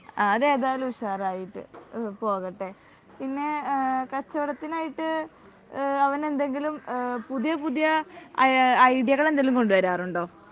ആ അതേതായാലും ഉഷാറായിട്ട് ഇഹ് പോകട്ടെ. പിന്നെ എഹ് കച്ചവടത്തിനായിട്ട് ഇഹ് അവൻ എന്തെങ്കിലും പുതിയ പുതിയ അയ് ഐഡിയകൾ എന്തെങ്കിലും കൊണ്ടുവരാറുണ്ടോ